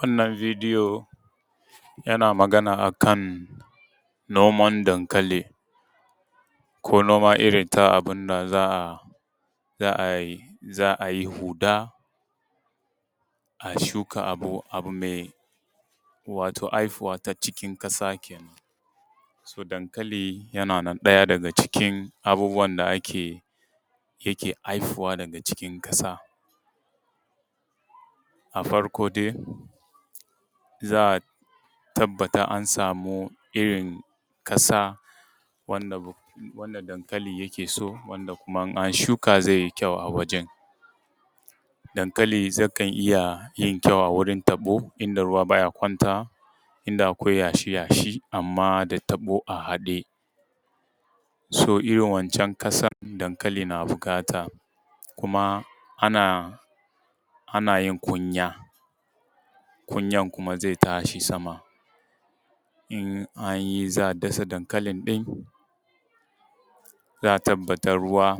Wannan bidiyo yana magana a kan noman dankali ko noma irin ta abin da za a yi huɗa, a shuka abu me wato aifuwa ta cikin ƙasa kenan. So dankali yana ɗaya daga cikin abubuwan da ake yake aifuwa daga cikin ƙasa. A farko dai za a tabbata an samu irin ƙasa wanda dankali yake so wanda kuma in an shuka zai yi kyau a wajan. Dankali zai iya yin kyau a wurin taɗo inda ruwa baya kwantawa, inda akwai yashi yashi, amma da taɓo a haɗe so irin wancan ƙasan dankali yana buƙata kuma ana yin kunya, kunyan kuma zai tashi sama. in an yi za a dasa dankali ɗin za a tabbata ruwa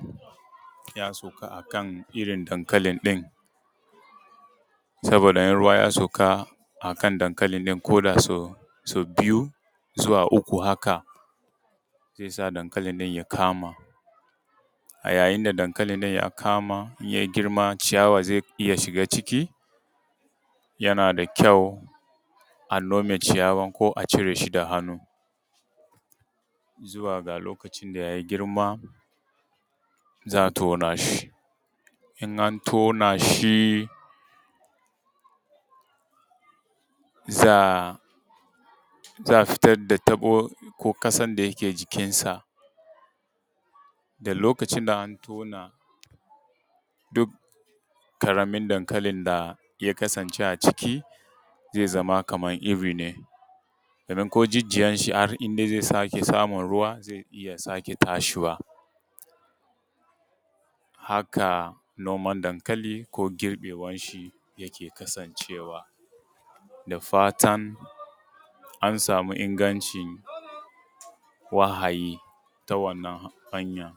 ya sauka a kan irin dankali ɗin. Saboda in ruwa ya sauka a kan dankali ɗin koda sau biyu zuwa uku haka zai sa dankali ɗin ya kama a yayin da dankali ɗin ya kama, ya girma ciyawa zai iya shiga ciki, yana da kyau a nome ciyawan ko a cire shi da hannu, zuwa ga lokacin da ya girma za a tona shi, in an tona shi za a fitar da taɓo ko ƙasar da yake jikinsa, da lokacin da an tona duk ƙaramin dankalin da ya kasance a ciki zai zama kamar iri ne don ko jijiyan shi in har in dai ya sake samin ruwa zai iya sake tashiwa. Haka noman dankali ko girbewan shi yake kasancewa. Da fatan an sami inganci wahayi ta wannan hanyan.